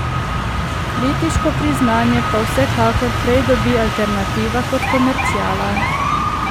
Kritiško priznanje pa vsekakor prej dobi alternativa kot komerciala.